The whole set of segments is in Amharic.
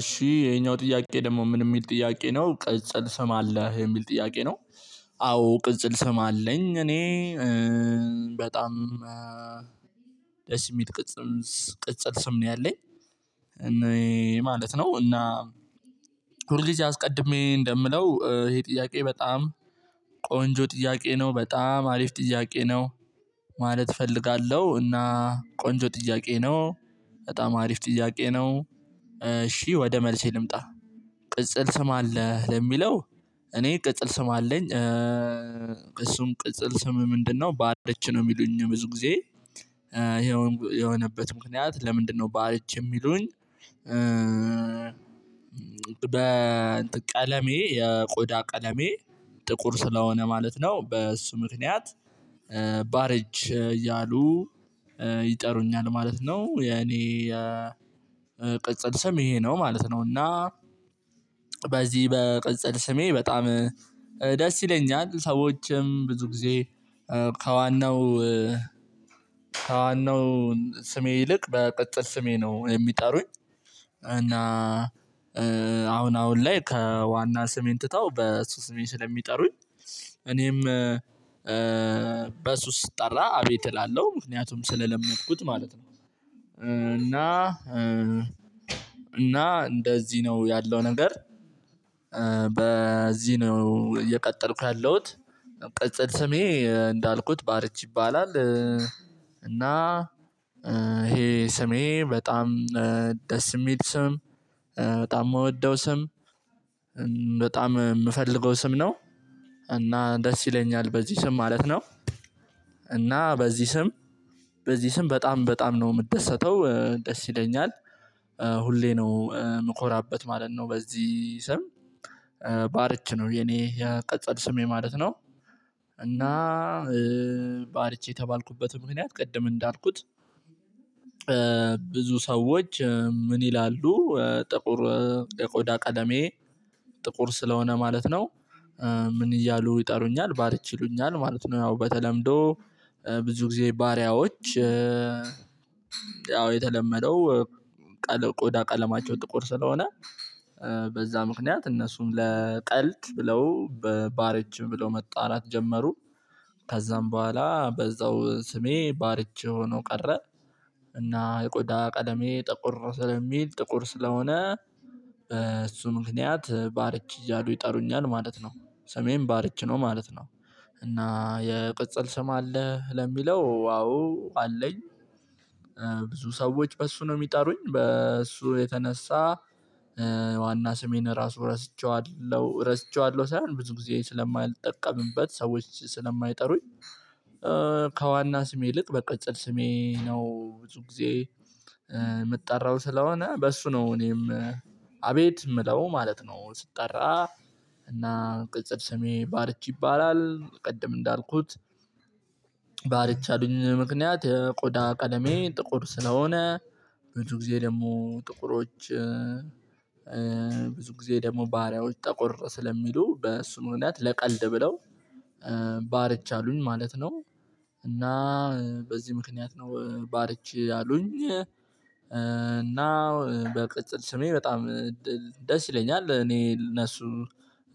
እሺ ይሄኛው ጥያቄ ደግሞ ምን የሚል ጥያቄ ነው ቅጽል ስም አለህ የሚል ጥያቄ ነው። አዎ ቅጽል ስም አለኝ እኔ በጣም ደስ የሚል ቅጽም ቅጽል ስም ነው ያለኝ። እኔ ማለት ነው። እና ሁል ጊዜ አስቀድሜ እንደምለው ይሄ ጥያቄ በጣም ቆንጆ ጥያቄ ነው። በጣም አሪፍ ጥያቄ ነው። ማለት እፈልጋለሁ እና ቆንጆ ጥያቄ ነው። በጣም አሪፍ ጥያቄ ነው። እሺ ወደ መልሴ ልምጣ። ቅጽል ስም አለህ ለሚለው? እኔ ቅጽል ስም አለኝ። እሱም ቅጽል ስም ምንድነው? ባርች ነው የሚሉኝ ብዙ ጊዜ። ይኸውም የሆነበት ምክንያት ለምንድነው? ባርች የሚሉኝ። በቀለሜ የቆዳ ቀለሜ ጥቁር ስለሆነ ማለት ነው። በእሱ ምክንያት ባረች እያሉ ይጠሩኛል ማለት ነው። የኔ የቅጽል ስም ይሄ ነው ማለት ነው። እና በዚህ በቅጽል ስሜ በጣም ደስ ይለኛል ሰዎችም ብዙ ጊዜ ከዋናው ከዋናው ስሜ ይልቅ በቅጽል ስሜ ነው የሚጠሩኝ። እና አሁን አሁን ላይ ከዋና ስሜን ትተው በሱ ስሜን ስለሚጠሩኝ እኔም በሱ ስጠራ አቤት እላለሁ ምክንያቱም ስለለመድኩት ማለት ነው። እና እና እንደዚህ ነው ያለው ነገር። በዚህ ነው እየቀጠልኩ ያለሁት። ቅጽል ስሜ እንዳልኩት ባርች ይባላል። እና ይሄ ስሜ በጣም ደስ የሚል ስም በጣም የምወደው ስም በጣም የምፈልገው ስም ነው። እና ደስ ይለኛል በዚህ ስም ማለት ነው። እና በዚህ ስም በዚህ ስም በጣም በጣም ነው የምትደሰተው ደስ ይለኛል። ሁሌ ነው የምኮራበት ማለት ነው። በዚህ ስም ባርች ነው የኔ የቅጽል ስሜ ማለት ነው። እና ባርቼ የተባልኩበት ምክንያት ቅድም እንዳልኩት። ብዙ ሰዎች ምን ይላሉ? ጥቁር የቆዳ ቀደሜ ጥቁር ስለሆነ ማለት ነው። ምን እያሉ ይጠሩኛል ባርች ይሉኛል ማለት ነው። ያው በተለምዶ ብዙ ጊዜ ባሪያዎች። ያው የተለመደው ቀለም ቆዳ ቀለማቸው ጥቁር ስለሆነ በዛ ምክንያት እነሱን ለቀልድ ብለው በባረችም ብለው መጣራት ጀመሩ። ከዛም በኋላ በዛው ስሜ ባርች ሆኖ ቀረ። እና የቆዳ ቀለሜ ጠቆር ስለሚል ጥቁር ስለሆነ እሱ ምክንያት ባርች እያሉ ይጠሩኛል ማለት ነው። ሰሜን ባርች ነው ማለት ነው። እና የቅጽል ስም አለ ለሚለው አዎ አለኝ። ብዙ ሰዎች በእሱ ነው የሚጠሩኝ በእሱ የተነሳ ዋና ስሜን ራሱ ረስቸዋለሁ ረስቸዋለሁ ሳይሆን ብዙ ጊዜ ስለማይጠቀምበት ሰዎች ስለማይጠሩኝ። ከዋና ስም ይልቅ በቅጽል ስሜ ነው ብዙ ጊዜ የምጠራው ስለሆነ በሱ ነው እኔም። አቤት የምለው ማለት ነው ስጠራ። እና ቅጽል ስሜ ባርቼ ይባላል ቅድም እንዳልኩት። ባርች ያሉኝ ምክንያት የቆዳ ቀለሜ ጥቁር ስለሆነ። ብዙ ጊዜ ደግሞ ጥቁሮች ብዙ ጊዜ ደግሞ ባሪያዎች ጠቆር ስለሚሉ በእሱን ሁኔታ ለቀልድ ብለው ባርች አሉኝ ማለት ነው። እና በዚህ ምክንያት ነው ባርች አሉኝ እና በቅጽል ስሜ በጣም ደስ ይለኛል። እኔ እነሱ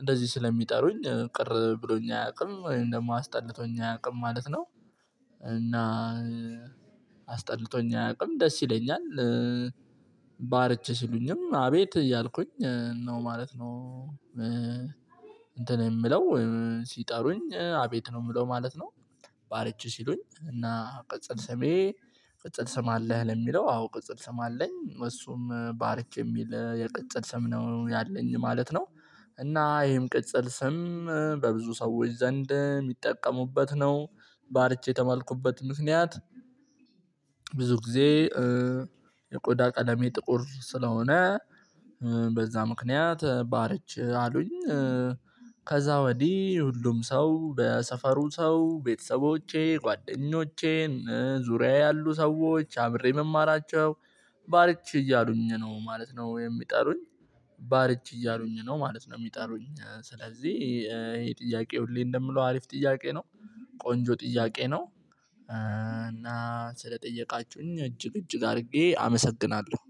እንደዚህ ስለሚጠሩኝ ቅር ብሎኝ አያውቅም ወይም ደግሞ አስጠልቶኝ አያውቅም ማለት ነው። እና አስጠልቶኝ አያውቅም ደስ ይለኛል። ባርች ስሉኝም አቤት እያልኩኝ ነው ማለት ነው። እንትን የምለው ወይም ሲጠሩኝ አቤት ነው የምለው ማለት ነው። ባለችው ሲሉኝ እና ቅጽል ሰሜ ቅጽል ስም አለህ? ለሚለው አዎ ቅጽል ስም አለኝ እሱም ባርች የሚል የቅጽል ስም ነው ያለኝ ማለት ነው። እና ይሄም ቅጽል ስም በብዙ ሰዎች ዘንድ የሚጠቀሙበት ነው። ባርቼ የተባልኩበት ምክንያት። ብዙ ጊዜ የቆዳ ቀደሜ ጥቁር ስለሆነ በዛ ምክንያት ባርች አሉኝ። ከዛ ወዲህ ሁሉም ሰው በሰፈሩ ሰው ቤተሰቦቼ ጓደኞቼን ዙሪያዬ ያሉ ሰዎች አብሬ እምማራቸው ባርች እያሉኝ ነው ማለት ነው የሚጠሩኝ። ባርች እያሉኝ ነው ማለት ነው የሚጠሩኝ። ስለዚህ ይሄ ጥያቄ ሁሌ እንደምለው አሪፍ ጥያቄ ነው። ቆንጆ ጥያቄ ነው። እና ስለጠየቃችሁኝ እጅግ እጅግ አድርጌ አመሰግናለሁ